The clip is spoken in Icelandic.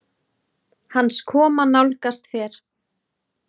Hans koma nálgast fer